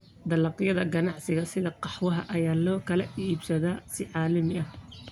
Dalagyada ganacsiga sida qaxwaha ayaa loo kala iibsadaa si caalami ah.